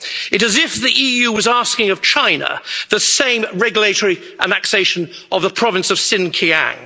It is as if the EU was asking of China the same regulatory annexation of the province of Sinkiang.